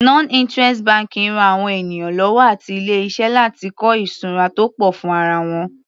Non interest banking ran àwọn ènìyàn lọ́wọ́ àti ilé iṣẹ́ láti kọ́ ìṣura tó pọ̀ fún ara wọn.